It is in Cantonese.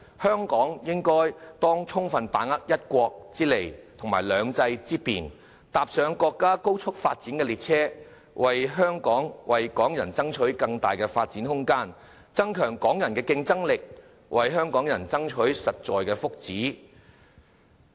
香港應當充分把握"一國"之利和"兩制"之便，搭上國家高速發展的列車，為香港人爭取更大發展空間，增強香港人的競爭力，為香港人爭取實在的福祉。